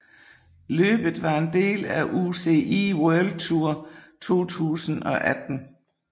Løbet var en del af UCI World Tour 2018